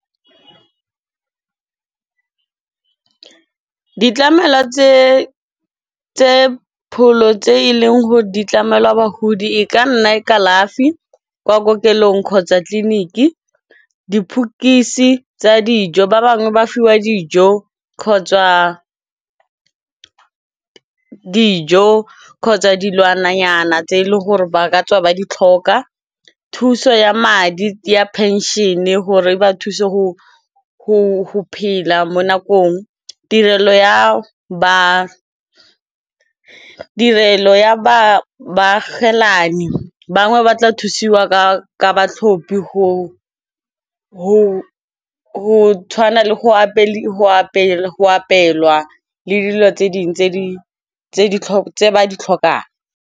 Ditlamelwa tse pholo tse e leng gore di tlamelwa bagodi e ka nna, kalafi kwa bookelong kgotsa tleleniki. Diphukisi tsa dijo ba bangwe ba fiwa dijo, kgotsa dijo kgotsa dilwananyana tse eleng gore ba ka tswa ba di tlhoka. Thuso ya madi ya pensione-e gore ba thuse go phela mo nakong, tirelo ya baagelani, bangwe ba tla thusiwa ka batlhophi go tshwana le go apelwa, le dilo tse dingwe tse ba ditlhokang.